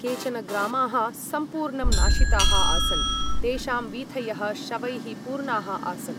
केचन ग्रामाः सम्पूर्णं नाशिताः आसन्, तेषां वीथयः शवैः पूर्णाः आसन्।